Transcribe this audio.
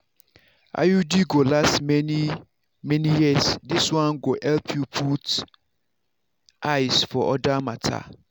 iud go last many - many years this one go help you put eyes for other matter.